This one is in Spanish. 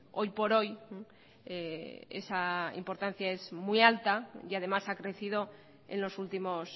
hoy por hoy esa importancia es muy alta y además ha crecido en los últimos